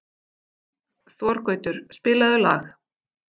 Þorgautur, spilaðu lag.